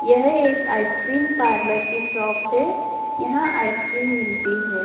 यह एक ice cream parlour की शॉप है यहां आइसक्रीम मिलती है।